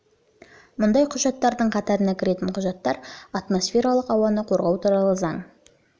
мұндай құжаттардың қатарына кіретін құжаттар атмосфералық ауаны қорғау туралы заң наурыз